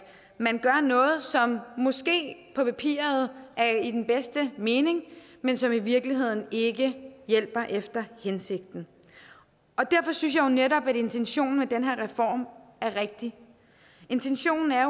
man gør noget som måske på papiret er i den bedste mening men som i virkeligheden ikke hjælper efter hensigten derfor synes jeg netop at intentionen med den her reform er rigtig intentionen er